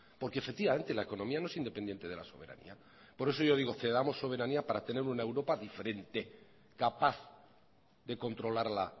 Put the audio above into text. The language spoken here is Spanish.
porque efectivamente la economía no es independiente de la soberanía por eso yo digo cedamos soberanía para tener una europa diferente capaz de controlar la